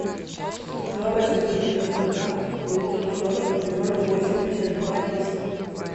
два восемьсот девяносто два девятьсот сорок ноль восемьдесят два десять